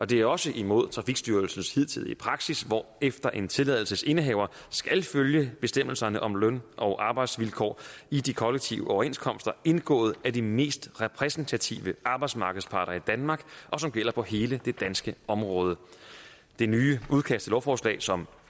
det er også imod trafikstyrelsens hidtidige praksis hvorefter en tilladelsesindehaver skal følge bestemmelserne om løn og arbejdsvilkår i de kollektive overenskomster indgået af de mest repræsentative arbejdsmarkedsparter i danmark som gælder på hele det danske område det nye udkast til lovforslag som